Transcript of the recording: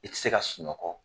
I ti se ka sunɔkɔ